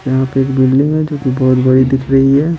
यहाँ पे एक बिल्डिंग है जो कि बहुत बड़ी दिख रही है।